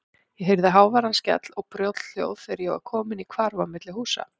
Ég heyrði háværan skell og brothljóð þegar ég var kominn í hvarf á milli húsa.